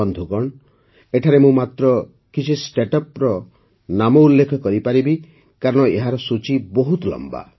ବନ୍ଧୁଗଣ ଏଠାରେ ମୁଁ ମାତ୍ର କିଛି ଷ୍ଟାର୍ଟଅପ୍ର ନାମ ଉଲ୍ଲେଖ କରିପାରିବି କାରଣ ଏହି ସୂଚି ବହୁତ ଲମ୍ବା